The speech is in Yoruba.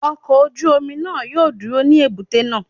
Ọkọ̀ ojú omi náà yóò dúró ní èbúté náà.